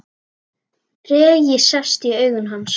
Tregi sest í augu hans.